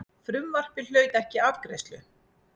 Frumvarpið hlaut ekki afgreiðslu.